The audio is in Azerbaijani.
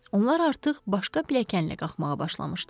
Onlar artıq başqa pilləkənlə qalxmağa başlamışdılar.